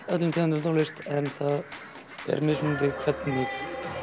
öllum tegundum af tónlist en það er mismunandi hvernig